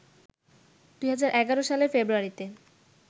২০১১ সালের ফেব্রুয়ারিতে